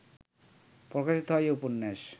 প্রকাশিত হয় এই উপন্যাস